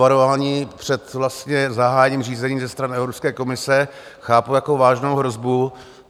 Varování před zahájením řízení ze strany Evropské komise chápu jako vážnou hrozbu.